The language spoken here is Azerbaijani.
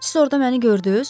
Siz orada məni gördünüz?